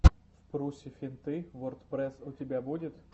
впрусе финты вордпрэсс у тебя будет